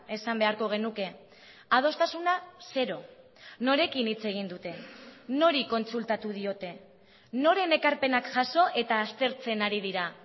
esan beharko genuke adostasuna zero norekin hitz egin dute nori kontsultatu diote noren ekarpenak jaso eta aztertzen ari dira